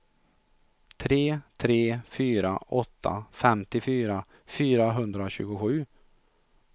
tre tre fyra åtta femtiofyra fyrahundratjugosju